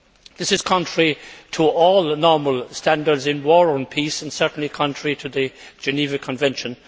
This is contrary to all normal standards in war or peace, and certainly contrary to the Geneva Convention.